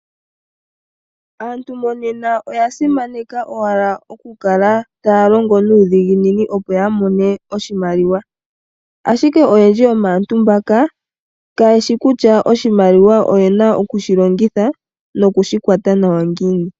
Aantu monena oya simaneka owala okukala taa longo nuudhiginini opo ya mone oshimaliwa. Ashike oyendji yomaantu mboka, ka yeshi kutya oshimaliwa oyena okushi longitha nokushi kwata nawa ngiini.